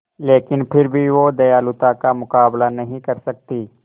लेकिन फिर भी वह दयालुता का मुकाबला नहीं कर सकती